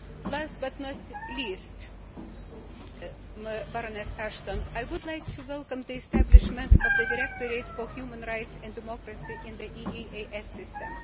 Last but not least, I would like to welcome the establishment of the Directorate for Human Rights and Democracy in the EEAS system.